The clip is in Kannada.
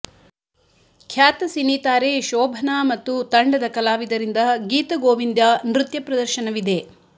ಖ್ಯಾತ ಸಿನಿ ತಾರೆ ಶೋಭನಾ ಮತ್ತು ತಂಡದ ಕಲಾವಿದರಿಂದ ಗೀತ ಗೋವಿಂದ ನೃತ್ಯ ಪ್ರದರ್ಶನವಿದೆ